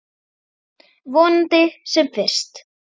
Vonandi sem fyrst.